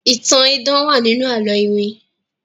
ìtàn idán wá nínú àlọ iwin.